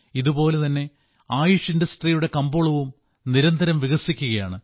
ഇതുപോലെ തന്നെ ആയുഷ് വ്യവസായത്തിന്റെ കമ്പോളവും നിരന്തരം വികസിക്കുകയാണ്